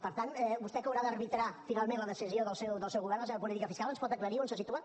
per tant vostè que haurà d’arbitrar finalment la decisió del seu govern la seva política fiscal ens pot aclarir on se situa